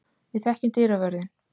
Við þekkjum dyravörðinn.